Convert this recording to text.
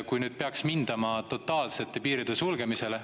Kui nüüd peaks mindama totaalsele piiride sulgemisele …